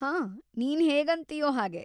ಹಾಂ, ನೀನ್‌ ಹೇಗಂತಿಯೋ ಹಾಗೆ.